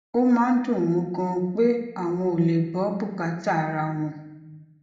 ó máa ń dùn wón ganan pé àwọn ò lè gbó bùkátà ara wọn